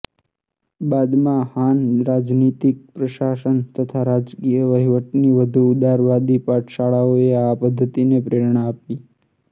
બાદમાં હાન રાજનીતિક પ્રશાસન તથા રાજકીય વહીવટની વધુ ઉદારવાદી પાઠશાળાઓને આ પદ્ધતિએ પ્રેરણા આપી